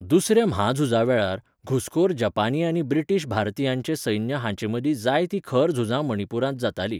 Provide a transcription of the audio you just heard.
दुसऱ्या म्हाझुजावेळार, घुसखोर जपानी आनी ब्रिटीश भारतीयांचे सैन्य हांचेमदीं जायतीं खर झुजां मणिपुरांत जातालीं.